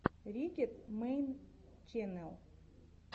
риггет мэйн ченнэл